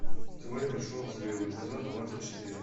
теория большого взрыва эпизод двадцать четыре